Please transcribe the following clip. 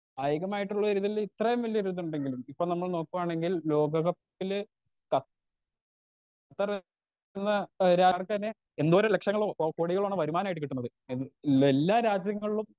Speaker 2 കായികമായിട്ടുള്ളൊരിതില് ഇത്രേം വല്ല്യൊരു ഇത്ണ്ടെങ്കിലും ഇപ്പൊ നമ്മൾ നോക്കുവാണെങ്കിൽ ലോക കപ്പിലെ ഖത്തറിന്ന് ഒരാൾക്കന്നെ എന്തോരം ലക്ഷണങ്ങള് ഓ കോടികള് വരുമാനായിട്ട് കിട്ട്ണത് എല്ലാ രാജ്യങ്ങളിലും.